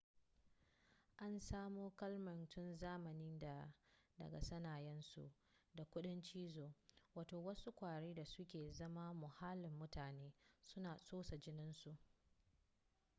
an samo kalmar tun zamanin da daga sanayyarsu da kudin cizo wato wasu kwari da su ke zama muhallin mutane suna tsotsar jininsu